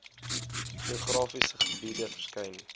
geografiese gebiede verskyn